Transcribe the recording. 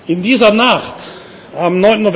In dieser Nacht